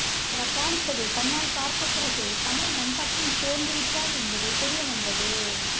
அவர் தாளிச்சதை கண்ணால் பார்த்த பிறகே கமல் நம் பக்கம் சேர்ந்துவிட்டார் என்பது தெரிய வந்தது